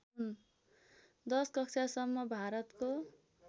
१० कक्षासम्म भारतको